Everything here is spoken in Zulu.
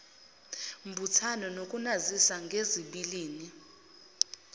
mbuthano nokunazisa ngezibilini